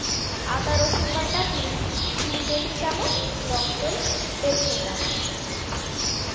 আদা রসুন বাটা তিল তিন table চামচ টক দই দেড়শো গ্রাম